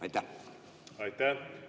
Aitäh!